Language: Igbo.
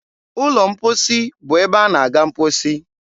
ụlọ mkposi bụ ebe a na -aga mkposi.